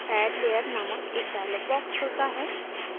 add layer named एक dialog box खुलता है